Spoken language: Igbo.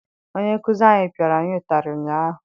Onye nkụzi anyị pịara anyị ụtarị ụnyaahụ.